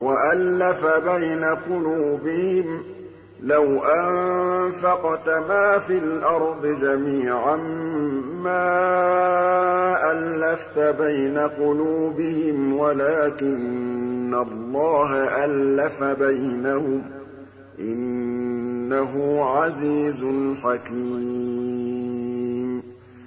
وَأَلَّفَ بَيْنَ قُلُوبِهِمْ ۚ لَوْ أَنفَقْتَ مَا فِي الْأَرْضِ جَمِيعًا مَّا أَلَّفْتَ بَيْنَ قُلُوبِهِمْ وَلَٰكِنَّ اللَّهَ أَلَّفَ بَيْنَهُمْ ۚ إِنَّهُ عَزِيزٌ حَكِيمٌ